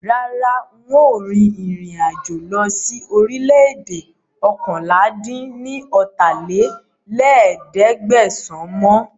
Rárá, ń ó rìn ìrìn-àjò lọ síí orílè-èdè oókànlá-dín-ní-ọ́ta lé ní ẹ̀ẹ́dẹ́gbẹ́sán mọ